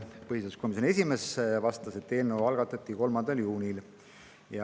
Põhiseaduskomisjoni esimees vastas, et eelnõu algatati 3. juunil.